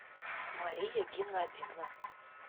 мария геннадьевна